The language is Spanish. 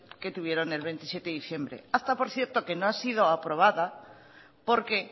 que tuvieron el veintisiete de diciembre acta por cierto que no ha sido aprobada porque